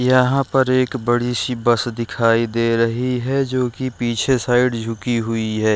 यहाँ पर एक बड़ी सी बस दिखाई दे रही है जो कि पीछे साइड झुकी हुई है।